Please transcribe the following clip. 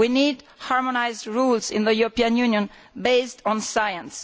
We need harmonised rules in the European Union based on science.